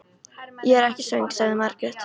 Ég er ekki svöng, sagði Margrét.